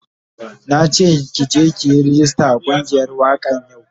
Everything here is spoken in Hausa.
Na ke ki je ki yi ragista a kungiyar wakan yau.